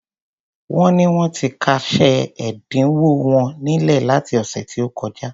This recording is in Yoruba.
Wón ní wón ti kásẹ̀ ẹ̀dínwó wọn nílẹ̀ láti ọ̀sẹ̀ tí ó kọjá.